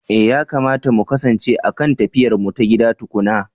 Eh yakamata mu kasance a kan tafiyarmu ta gida tukuna.